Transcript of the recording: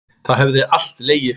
Það hefði alltaf legið fyrir